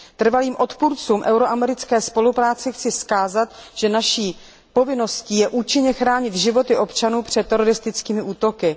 Trvalým odpůrcům evropsko americké spolupráce chci vzkázat, že naší povinností je účinně chránit životy občanů před teroristickými útoky.